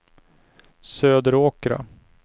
Söderåkra